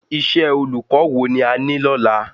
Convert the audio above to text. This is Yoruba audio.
Iṣẹ́ olùkọ́ wo ni a ní lọ́la